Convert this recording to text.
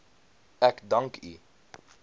ek dank u